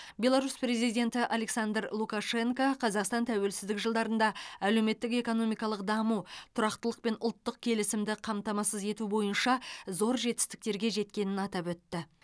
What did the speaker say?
беларусь президенті александр лукашенко қазақстан тәуелсіздік жылдарында әлеуметтік экономикалық даму тұрақтылық пен ұлттық келісімді қамтамасыз ету бойынша зор жетістіктерге жеткенін атап өтті